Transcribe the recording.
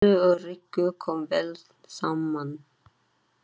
Lillu og Rikku kom vel saman.